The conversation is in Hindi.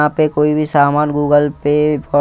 यहां पे कोई भी सामान गूगल पे पर --